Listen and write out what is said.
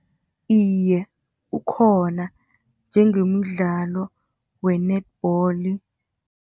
Iye, ukhona, njengemidlalo we-netball.